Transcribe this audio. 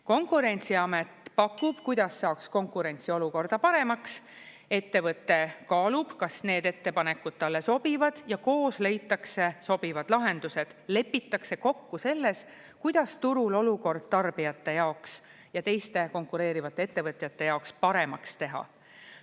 Konkurentsiamet pakub, kuidas saaks konkurentsiolukorda paremaks, ettevõte kaalub, kas need ettepanekud talle sobivad ja koos leitakse sobivad lahendused, lepitakse kokku selles, kuidas turul olukord tarbijate jaoks ja teiste konkureerivate ettevõtjate jaoks paremaks teha.